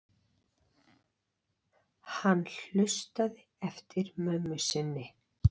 Hann hlustaði eftir mömmu sinni.